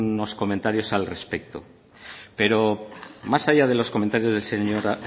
unos comentarios al respecto pero más allá de los comentarios del señor